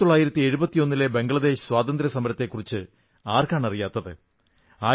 1971 ലെ ബംഗ്ലാദേശ് സ്വാതന്ത്ര്യസമരത്തെക്കുറിച്ച് ആർക്കാണറിയാത്തത്